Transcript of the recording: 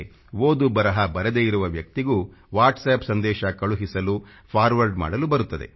ಓದು ಬರಹ ಬಾರದೇ ಇರುವ ವ್ಯಕ್ತಿಗೂ ವಾಟ್ಸ್ಆಪ್ ಸಂದೇಶ ಕಳುಹಿಸಲು ಸಂದೇಶ ಫಾರ್ವರ್ಡ್ ಮಾಡಲು ಬರುತ್ತದೆ